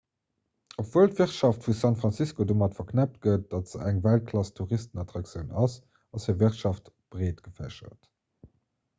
obwuel d'wirtschaft vu san francisco domat verknëppt gëtt datt se eng weltklass-touristenattraktioun ass ass hir wirtschaft breet gefächert